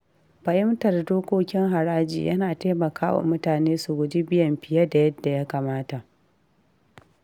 Fahimtar dokokin haraji yana taimaka wa mutane su guji biyan fiye da yadda ya kamata.